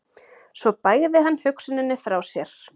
Svo bægði hann hugsuninni frá sér.